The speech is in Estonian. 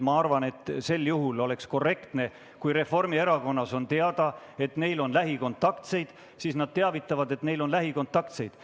Ma arvan, et oleks korrektne, kui Reformierakonnas on teada, et neil on lähikontaktseid, siis nad teavitavad sellest, et neil on lähikontaktseid.